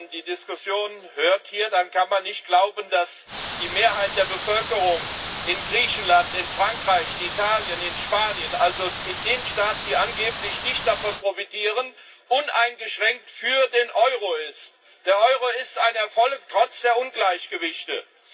Wenn man die Diskussionen hier hört, dann kann man nicht glauben, dass die Mehrheit der Bevölkerung in Griechenland, in Frankreich, in Italien, in Spanien also in den Staaten, die angeblich nicht davon profitieren uneingeschränkt für den Euro ist. Der Euro ist ein Erfolg, trotz der Ungleichgewichte.